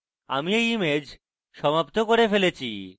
এবং আমি এই image সমাপ্ত করে ফেলেছি